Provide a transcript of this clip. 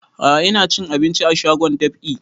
A'a ina cin abinci a shagon dab'i